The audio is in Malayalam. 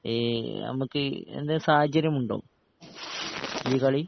ഈ ഞമ്മക്ക് എന്ത് സാഹചര്യമുണ്ടോ ഈ കളി